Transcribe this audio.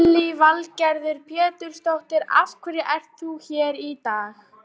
Lillý Valgerður Pétursdóttir: Af hverju ert þú hér í dag?